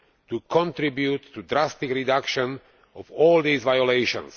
to contribute to drastic reductions of all these violations.